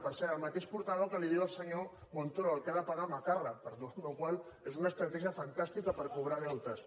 per cert el mateix portaveu que li diu al senyor montoro al que ha de pagar macarra amb perdó la qual cosa és un estratègia fantàstica per cobrar deutes